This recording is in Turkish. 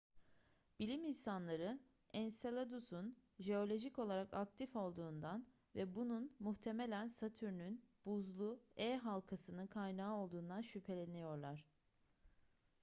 bilim insanları enseladus'un jeolojik olarak aktif olduğundan ve bunun muhtemelen satürn'ün buzlu e halkasının kaynağı olduğundan şüpheleniyorlar